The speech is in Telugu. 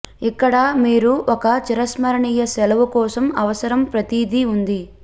ఇక్కడ మీరు ఒక చిరస్మరణీయ సెలవు కోసం అవసరం ప్రతిదీ ఉంది